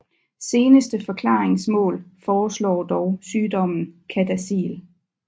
Seneste forklaringsmodel foreslår dog sygdommen CADASIL